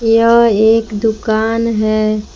यह एक दुकान है।